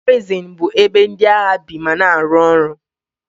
Garizin bụ ebe ndị agha bi ma na-arụ ọrụ.